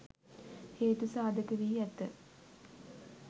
හේතු සාධක වී ඇත.